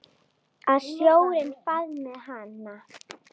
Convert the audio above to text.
Að sjórinn faðmi hana.